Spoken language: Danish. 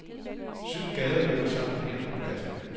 Syv gader løber sammen her på pladsen.